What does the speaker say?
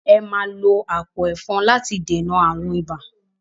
Ẹ máa lo àpò ẹ̀fọn láti dènà ààrùn ibà!